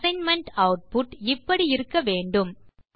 assignment output இப்படி இருக்க வேண்டும்